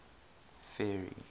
ferry